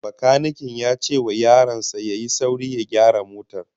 Bakaniken ya ce wa yaron sa ya yi sauri ya gyara motar